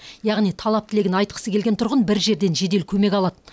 яғни талап тілегін айтқысы келген тұрғын бір жерден жедел көмек алады